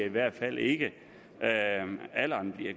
i hvert fald ikke